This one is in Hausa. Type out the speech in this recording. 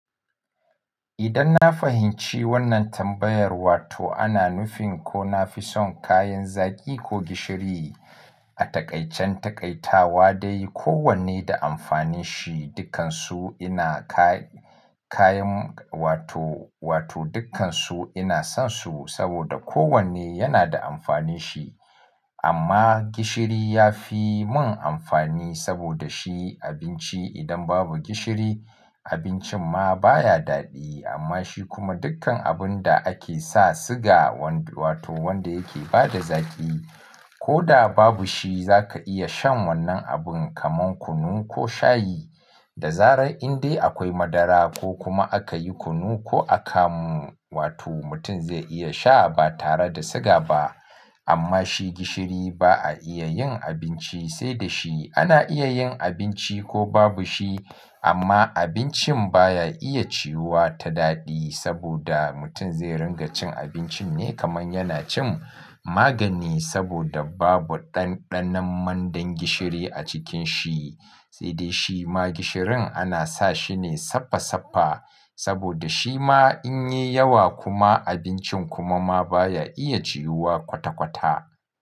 Idan na fahimci wannan tambayar, wato ana nufin ko na fi son kayan zaki ko gishiri a taƙaicin taƙaitawa dai kowanne da amfanin shi, dukkansu ina kayan wato, wato dukkansu ina son su saboda kowanne yana da amfanin shi. Amma gishiri ya fi mun amfani saboda shi abinci idan babu gishiri abincin ma baya daɗi. Amma shi kuma dukkan abun da ake sa siga wato wanda yake bada zaƙi ko da babu shi za ka iya shan wannan abun kamar kunu ko shayi. Da zarar in dai akwai madara ko kuma aka yi kunu ko akamu wato mutum zai iya sha ba tare da siga ba. Amma shi gishiri ba a iya yin abinci sai da shi. Ana iya yin abinci ko babu shi amma abincin baya iya ciyuwa ta daɗi saboda mutum zai ringa cin abincin ne kamar yana cin magani saboda babu ɗanɗanon mandan gishiri a cikin shi. Sai dai shi ma gishirin ana sa shi ne safa safa saboda shi ma in yi yawa kuma abincin kuma ma baya iya ciyuwa kwata kwata.